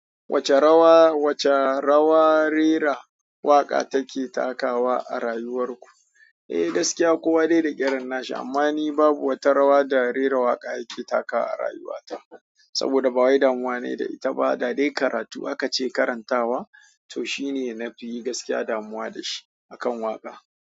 Wace rawa, wace rawa rera waƙa take takawa a rayuwar ku? Eh, gaskiya kowa dai da irin na shi, amma ni babu wata rawa da rera waƙa yake takawa a rayuwata. Saboda bawai damuwa ne da ita ba, da dai karatu aka ce karantawa to shi ne na fi yi gaskiya damuwa da shi akan waƙa.